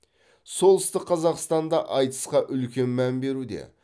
солтүстік қазақстанда айтысқа үлкен мән беруде